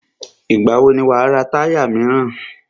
Ìgbà wò ni wà á ra táyà míràn?